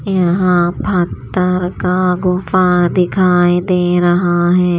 यहां पत्तर का गुफा दिखाई दे रहा है।